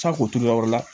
k'o turu yɔrɔ wɛrɛ la